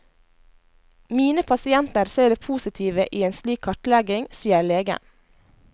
Mine pasienter ser det positive i en slik kartlegging, sier legen.